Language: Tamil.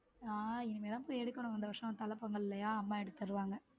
நான் இனிமேல் தான் போய் எடுக்கணும் இந்த வருஷம் தல பொங்கல் இல்லையா அம்மா எடுத்து தருவாங்க.